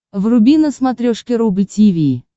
вруби на смотрешке рубль ти ви